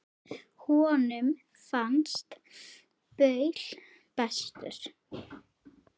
Honum fannst Paul bestur.